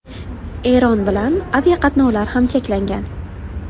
Eron bilan aviaqatnovlar ham cheklangan.